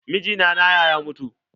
Mijina na ya mutu.